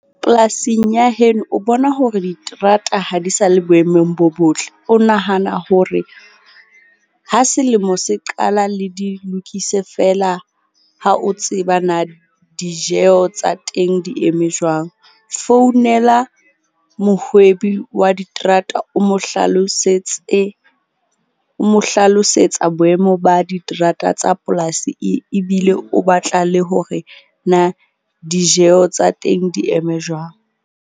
Polasing ya heno, o bona hore diterata ha di sa le boemong bo botle. O nahana hore ha selemo se qala le di lokise fela ha o tseba na dijeho tsa teng di eme jwang. Founela mohwebi wa diterata o mo hlalosetse, o mo hlalosetsa boemo ba diterata tsa polasi e ebile o batla le hore na dijeho tsa teng di eme jwang.